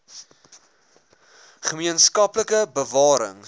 gemeen skaplike bewarings